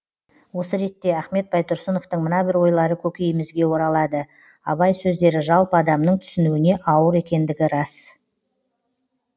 осы ретте ахмет байтұрсыновтың мына бір ойлары көкейімізге оралады абай сөздері жалпы адамның түсінуіне ауыр екендігі рас